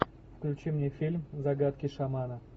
включи мне фильм загадки шамана